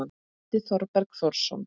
eftir Þorberg Þórsson